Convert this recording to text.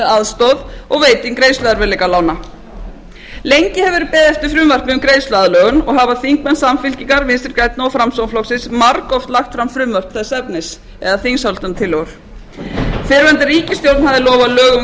aðstoð og veiting greiðsluerfiðleikalána lengi hefur verið beðið eftir frumvarpi um greiðsluaðlögun og hafa þingmenn samfylkingar vinstri grænna og framsóknarflokksins margoft lagt fram frumvörp þess efnis eða þingsályktunartillögur fyrrverandi ríkisstjórn hafði lofað lögum um